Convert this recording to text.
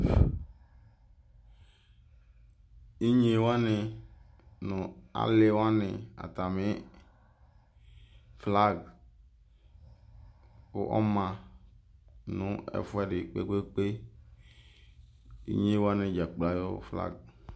Inye wanɩ nʋ alɩ wanɩ atamɩ flag kʋ ɔma nɛfʋɛdɩ kpekpekpeInye wanɩ dza kplo ayʋ flag